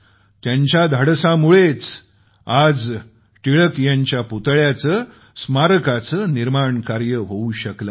त्यांच्या धाडसामुळेच आज टिळक यांच्या पुतळ्याचेस्मारकाचे निर्माणकार्य होवू शकले आहे